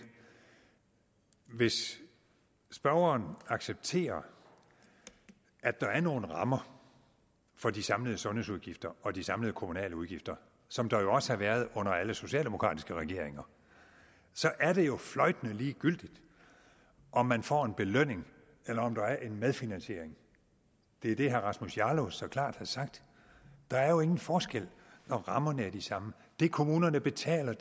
hvis spørgeren accepterer at der er nogle rammer for de samlede sundhedsudgifter og de samlede kommunale udgifter som der også har været under alle socialdemokratiske regeringer så er det jo fløjtende ligegyldigt om man får en belønning eller om der er en medfinansiering det er det herre rasmus jarlov så klart har sagt der er jo ingen forskel når rammerne er de samme det kommunerne betaler